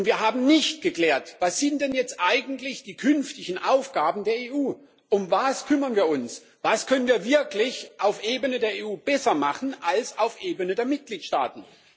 Wir haben nicht geklärt Was sind denn jetzt eigentlich die künftigen Aufgaben der EU, um was kümmern wir uns, was können wir auf der Ebene der EU wirklich besser machen als auf der Ebene der Mitgliedstaaten?